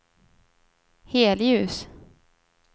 helljus